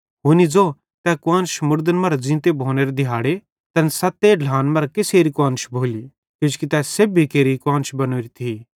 हुनी ज़ो तै कुआन्श मुड़दन मरां ज़ींते भोनेरे दिहाड़े तैन सत्ते ढ्लान मरां कसेरी कुआन्श भोली किजोकि तै सेब्भी केरि कुआन्श बनोरी थी